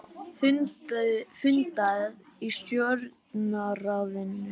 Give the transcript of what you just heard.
Fundað í Stjórnarráðinu